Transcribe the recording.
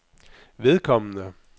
vedkommende